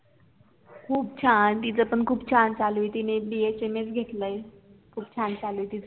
खूप छान तिचपण खुप छान चालू आहे तिने BHMS घेतलय खूप छान चालाय तीच